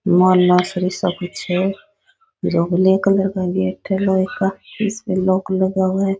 मौलासर से कुछ है जो ब्लैक कलर का गेट है लोहे का इसपे लॉक लगा हुआ है।